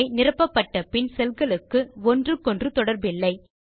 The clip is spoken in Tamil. அவை நிரப்பப்பட்டபின் செல் களுக்கு ஒன்றுகொன்று தொடர்பில்லை